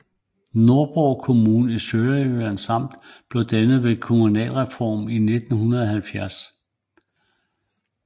Nordborg Kommune i Sønderjyllands Amt blev dannet ved kommunalreformen i 1970